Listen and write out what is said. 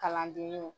Kalandenninw